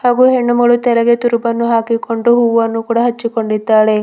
ಒಬ್ಬ ಹೆಣ್ಣುಮಗಳು ತಲೆಗೆ ತುರುಬನ್ನು ಹಾಕಿಕೊಂಡು ಹೂವನ್ನು ಕೂಡ ಹಚ್ಚಿಕೊಂಡೀದ್ದಾಳೆ.